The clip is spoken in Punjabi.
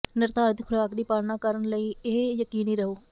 ਨਿਰਧਾਰਿਤ ਖੁਰਾਕ ਦੀ ਪਾਲਣਾ ਕਰਨ ਲਈ ਇਹ ਯਕੀਨੀ ਰਹੋ